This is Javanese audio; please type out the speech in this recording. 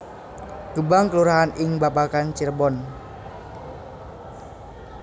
Gebang kelurahan ing Babakan Cirebon